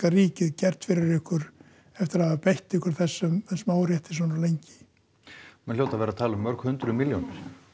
ríkið gert fyrir ykkur eftir að hafa beitt ykkur þessum órétti svona lengi menn hljóta að vera að tala um mörg hundruð milljónir